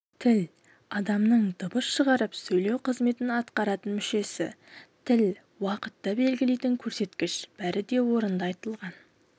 тіл адамның дыбыс шығарып сөйлеу қызметін атқаратын мүшесі тіл уақытты белгілейтін көрсеткіш бәрі де орынды айтылған